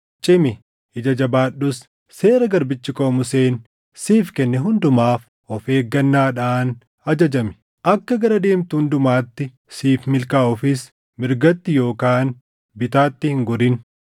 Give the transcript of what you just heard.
“Cimi; ija jabaadhus. Seera garbichi koo Museen siif kenne hundumaaf of eeggannaadhaan ajajami; akka gara deemtu hundumatti siif milkaaʼuufis mirgatti yookaan bitaatti hin gorin.